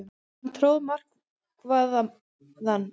Hann tróð marvaðann.